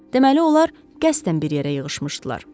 Deməli, onlar qəsdən bir yerə yığışmışdılar.